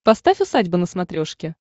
поставь усадьба на смотрешке